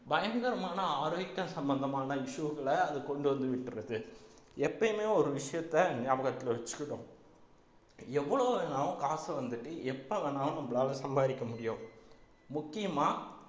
பயங்கரமான ஆரோக்கிய சம்பந்தமான issue களை அது கொண்டு வந்து விட்டுருது எப்பயுமே ஒரு விஷயத்த ஞாபகத்துல வச்சுக்கணும் எவ்வளவு வேணாலும் காசை வந்துட்டு எப்ப வேணாலும் நம்மளால சம்பாரிக்க முடியும் முக்கியமா